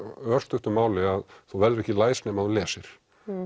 örstuttu máli þá verðurðu ekki læs nema þú lesir